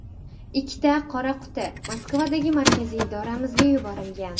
Ikkita ‘qora quti’ Moskvadagi markaziy idoramizga yuborilgan.